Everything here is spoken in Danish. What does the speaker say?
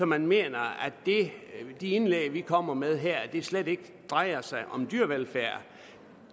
man mener at de indlæg vi kommer med her slet ikke drejer sig om dyrevelfærd